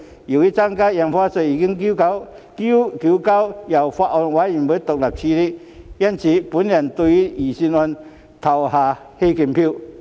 由於增加印花稅已由法案委員會獨立處理，我會對預算案投棄權票。